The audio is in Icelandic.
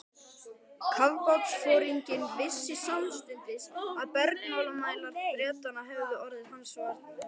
Kafbátsforinginn vissi samstundis að bergmálsmælar Bretanna hefðu orðið hans varir.